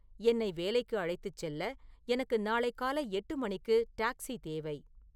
என்னை வேலைக்கு அழைத்துச் செல்ல எனக்கு நாளை காலை எட்டு மணிக்கு டாக்ஸி தேவை